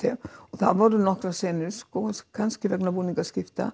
það voru nokkrar senur kannski vegna